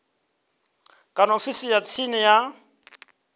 kana ofisini ya tsini ya